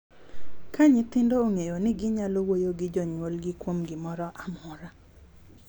Ka nyithindo ong’eyo ni ginyalo wuoyo gi jonyuolgi kuom gimoro amora—